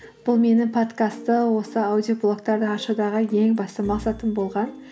бұл менің подкастты осы аудиоблогтарды ашудағы ең басты мақсатым болған